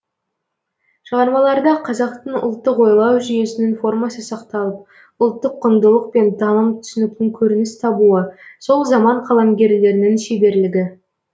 шығармаларда қазақтың ұлттық ойлау жүйесінің формасы сақталып ұлттық құндылық пен таным түсініктің көрініс табуы сол заман қаламгерлерінің шеберлігі